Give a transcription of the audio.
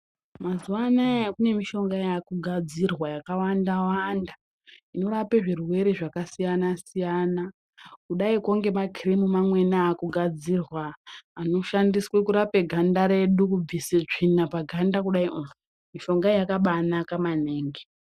Mazuwaanaya kune mishonga yakugadzirwa yakawanda wanda inorape zvirwere zvakasiyana siyana kudaiko ngema kirimu mamweni akugadzirwa anoshandiswe kurape ganda redu kubvise tsvina paganda kudaio mushongayo yakabanaka maningi.